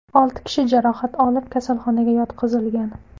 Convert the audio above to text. Olti kishi jarohat olib, kasalxonaga yotqizilgan.